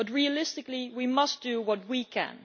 But realistically, we must do what we can.